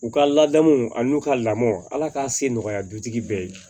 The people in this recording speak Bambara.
U ka ladamu ani u ka lamɔ ala ka se nɔgɔya dutigi bɛɛ ye